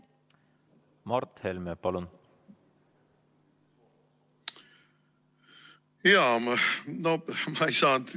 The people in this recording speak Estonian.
Mart Helme, palun!